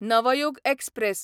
Navyug express